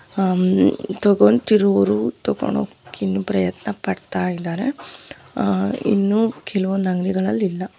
ಹ್ಮ್ ತಗೊಳ್ತಿರೋರು ತಗೊಂಡುಹೋಗೋಕ್ ಪ್ರಯತ್ನಪಡ್ತಾ ಇದ್ದಾರೆ ಆಹ್ ಇನ್ನೂ ಕೆಲವೊಂದ್ ಅಂಗಡಿಗಳಲಿಲ್ಲಾ.